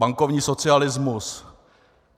Bankovní socialismus.